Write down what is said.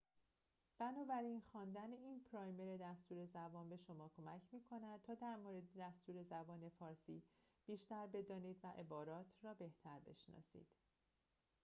بنابراین خواندن این پرایمر دستور زبان به شما کمک می‌کند تا در مورد دستور زبان فارسی بیشتر بدانید و عبارات را بهتر بشناسید